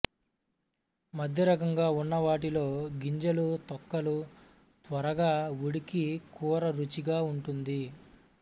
మధ్యరకంగా ఉన్నవాటిలో గింజలు తొక్కలు త్వరగా ఉడికి కూర రుచిగా ఉంటుంది